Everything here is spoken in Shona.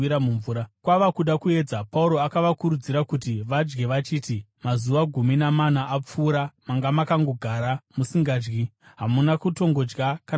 Kwava kuda kuedza, Pauro akavakurudzira kuti vadye achiti, “Mazuva gumi namana apfuura, manga makangogara musingadyi, hamuna kutongodya kana chinhu.